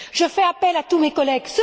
Je fais appel à tous mes collègues.